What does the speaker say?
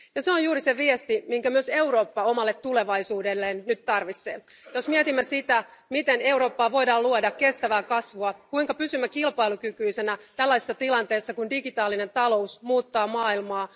Se on juuri se viesti, minkä myös Eurooppa omalle tulevaisuudelleen nyt tarvitsee, jos mietimme sitä, miten Eurooppaan voidaan luoda kestävää kasvua, kuinka pysymme kilpailukykyisenä tällaisessa tilanteessa, kun digitaalinen talous muuttaa maailmaa.